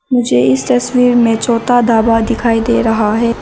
मुझे इस तस्वीर में छोता दाबा दिखाई दे रहा है।